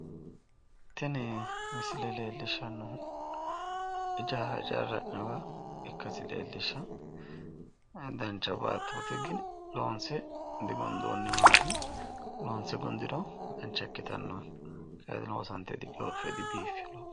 tini misile leellishshanohu ijaara ijaarranni hee'nooniha ikkasi leellishawo dancha baatooti gini loonse digundoonniwaati loonse gundiro dancha ikkitanno kayiini diloosantino digooffino dibiiffino.